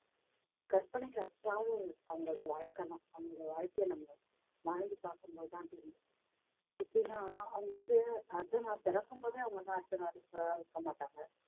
கற்பனைக்கு அவங்களுடைய வாழ்க்கைதான் அவங்களுடைய வாழ்க்கைய நம்ம வாழ்ந்து பார்க்கும் போதுதான் தெரியும் எப்படின்னா அவங்க வந்து அதை நான் பிறக்கும் போதே அவங்களா அர்த்தநாரீஸ்வரர் இருக்க மாட்டாங்க